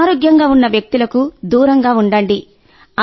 అనారోగ్యంగా ఉన్న వ్యక్తులకు దూరంగా ఉండండి